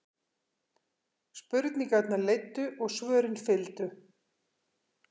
Spurningarnar leiddu og svörin fylgdu.